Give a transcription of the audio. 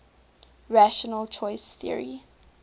rational choice theory